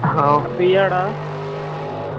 ஹான் free யா டா?